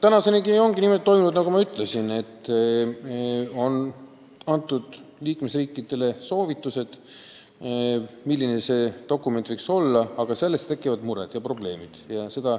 Tänaseni ongi see niimoodi toimunud, nagu ma ütlesin, et liikmesriikidele on antud soovitused, milline võiks see dokument olla, aga see on tekitanud muresid ja probleeme.